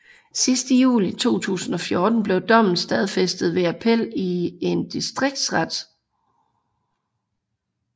Sidst i juli 2014 blev dommen stadfæstet ved appel i en distriktsret